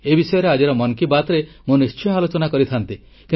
ଏ ବିଷୟରେ ଆଜିର ମନ୍ କି ବାତ୍ରେ ମୁଁ ନିଶ୍ଚୟ ଆଲୋଚନା କରିଥାନ୍ତି